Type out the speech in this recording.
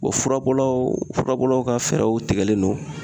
furabɔlaw furabɔlaw ka fɛɛrɛw tigɛlen don